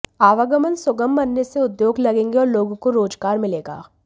आवागमन सुगम बनने से उद्योग लगेंगे और लोगों को रोजगार मिलेगा